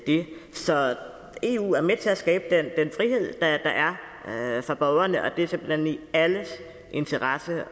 så eu er med til at skabe den frihed der er for borgerne og det er simpelt hen i alles interesse